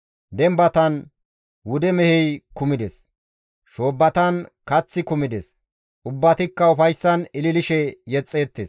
Dembatan wude mehey kumides; shoobbatan kaththi kumides; ubbatikka ufayssan ililishe yexxeettes.